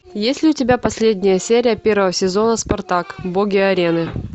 есть ли у тебя последняя серия первого сезона спартак боги арены